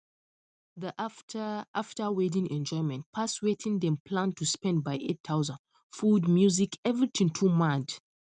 the after after wedding enjoyment pass wetin dem plan to spend by eight thousand food music everything too mad